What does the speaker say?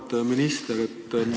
Auväärt minister!